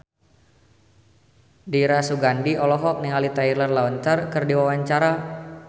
Dira Sugandi olohok ningali Taylor Lautner keur diwawancara